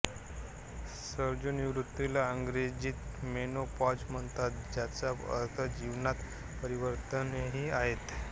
रजोनिवृत्ति ला अंग्रेजीत मेनोपॉज़ म्हणतात ज्याचा अर्थ जीवनात परिवर्तनहे आहे